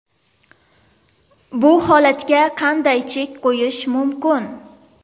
Bu holatga qanday chek qo‘yish mumkin?